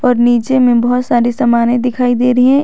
और नीचे में बहुत सारे सामाने दिखाई दे रही हैं।